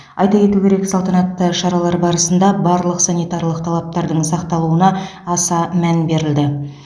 айта кету керек салтанатты шаралар барысында барлық санитарлық талаптардың сақталуына аса мән берілді